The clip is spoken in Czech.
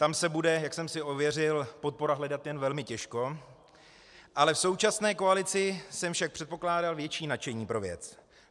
Tam se bude, jak jsem si ověřil, podpora hledat jen velmi těžko, ale v současné koalici jsem však předpokládal větší nadšení pro věc.